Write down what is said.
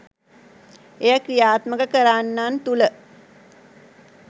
එය ක්‍රියාත්මක කරන්නන් තුළ